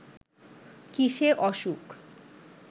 কিসে অসুখ